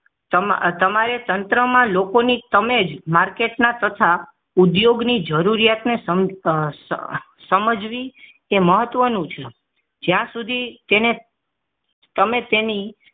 તમારે તંત્રમાં લોકોની તમેજ માર્કેટના તથા ઉદ્યોગ ની જરૂરિયાતને સમજ સમજવી એ મહત્વનું છે જ્યાં સુધી તેને તમે તેની